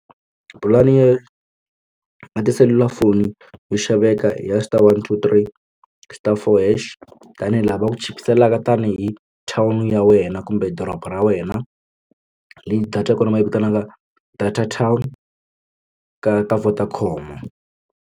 Pulani ya na tiselulafoni yo xaveka i ya star one two three star four hash tanihi laha va ku chipiselaka tanihi town ya wena kumbe doroba ra wena leyi data ya kona va yi vitanaka data town ka ka Vodacom.